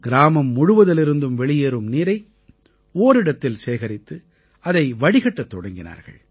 கிராமம் முழுவதிலிருந்தும் வெளியேறும் நீரை ஓரிடத்தில் சேகரித்து அதை வடிகட்டத் தொடங்கினார்கள்